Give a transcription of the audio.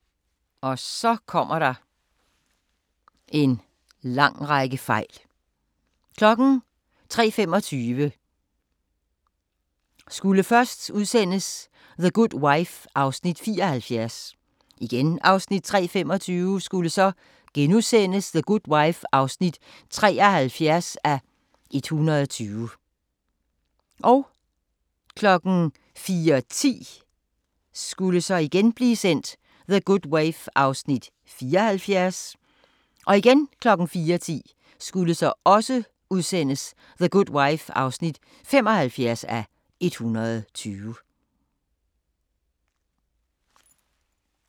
03:25: The Good Wife (74:120) 03:25: The Good Wife (73:120)* 04:10: The Good Wife (74:120) 04:10: The Good Wife (75:120)